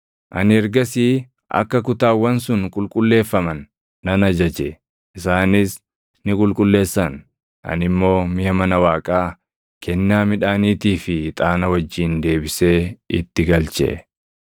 Ani ergasii akka kutaawwan sun qulqulleeffaman nan ajaje; isaanis ni qulqulleessan; ani immoo miʼa mana Waaqaa, kennaa midhaaniitii fi ixaana wajjin deebisee itti galche.